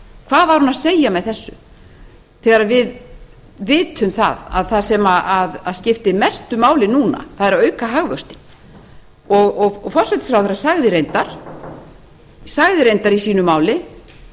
hvað var hún að segja með þessu þegar við vitum það að það sem skiptir mestu máli núna er að auka hagvöxtinn og forsætisráðherra sagði reyndar í sínu máli